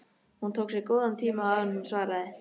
Hún tók sér góðan tíma áður en hún svaraði.